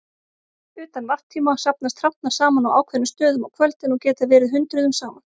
Utan varptíma safnast hrafnar saman á ákveðnum stöðum á kvöldin og geta verið hundruðum saman.